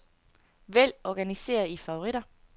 Vælg organiser i favoritter.